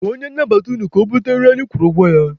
Gwa onye nnabata unu ka ha bute nri anyị kwụrụ ụgwọ ya.